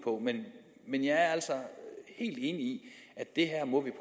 men jeg er altså helt enig i at